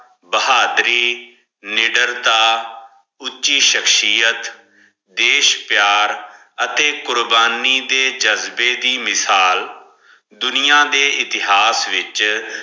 ਬਹਾਦੁਰੀ ਨੀਦੇਰ੍ਤਾ ਉਚੀ ਸ਼ਮਸ਼ੀ ਅੱਠ ਦਿਸ਼ ਪਯਾਰ ਅਠੀ ਕੁਰਬਾਨੀ ਦੇ ਜਜ਼ਬੇ ਵੀ ਮਿਸਾਲ ਦੁਨਿਆ ਦੇ ਇਤਹਾਸ ਵਿਚ